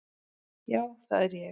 Já, það er ég!